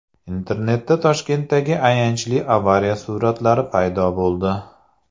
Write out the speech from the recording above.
Internetda Toshkentdagi ayanchli avariya suratlari paydo bo‘ldi.